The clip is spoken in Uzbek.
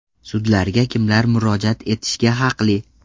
Sudlarga kimlar murojaat etishga haqli?.